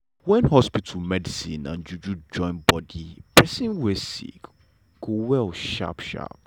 wen hospital medicine and juju join bodi pesin wey sick go well sharp sharp.